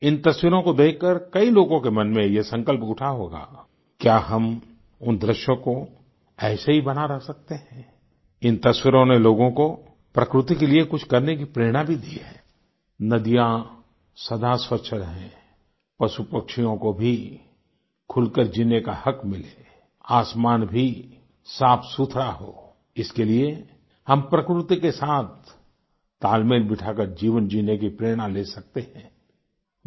इन तस्वीरों को देखकर कई लोगों के मन में ये संकल्प उठा होगा क्या हम उन दृश्यों को ऐसे ही बनाए रख सकते हैं आई इन तस्वीरों नें लोगों को प्रकृति के लिए कुछ करने की प्रेरणा भी दी है आई नदियां सदा स्वच्छ रहें पशुपक्षियों को भी खुलकर जीने का हक़ मिले आसमान भी साफ़सुथरा हो इसके लिए हम प्रकृति के साथ तालमेल बिठाकर जीवन जीने की प्रेरणा ले सकते हैं आई